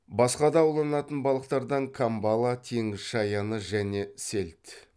басқада ауланатын балықтардан камбала теңіз шаяны және сельдь